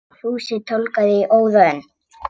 Fúsi tálgaði í óða önn.